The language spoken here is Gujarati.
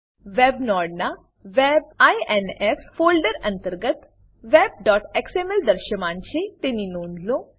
વેબ વેબ નોડનાં web ઇન્ફ ફોલ્ડર અંતર્ગત webએક્સએમએલ દૃશ્યમાન છે તેની નોંધ લો